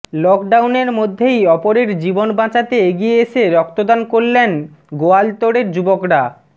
lock ডাউনের মধ্যেই অপরের জীবন বাঁচাতে এগিয়ে এসে রক্তদান করলেন গোয়ালতোড়ের যুবকরা